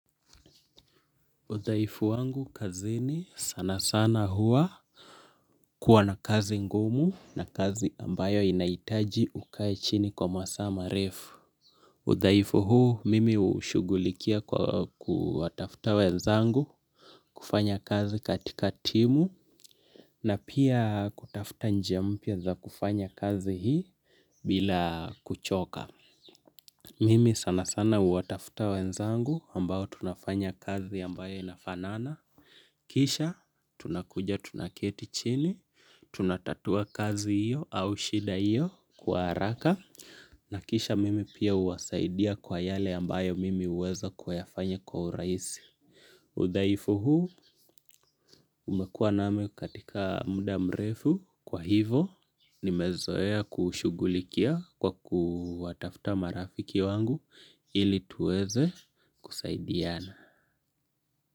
Udhaifu wangu kazini sana sana huwa kuwa na kazi ngumu na kazi ambayo inahitaji ukae chini kwa masaa marefu. Udhaifu huu mimi hushugulikia kwa kuwatafuta wenzangu kufanya kazi katika timu na pia kutafuta njia mpya za kufanya kazi hii bila kuchoka. Mimi sana sana huwatafuta wenzangu ambao tunafanya kazi ambayo inafanana. Kisha tunakuja tunaketi chini tunatatua kazi hiyo ama shida hiyo kwa haraka na kisha mimi pia huwasaidia kwa yale ambayo mimi huweza kuyayafanya kwa urahisi udhaifu huu umekuwa nami katika mda mrefu kwa hivyo nimezoea kuushugulikia kwa kuwatafuta marafiki wangu ili tuweze kusaidiana.